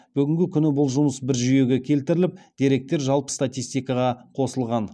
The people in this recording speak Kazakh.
бүгінгі күні бұл жұмыс бір жүйеге келтіріліп деректер жалпы статистикаға қосылған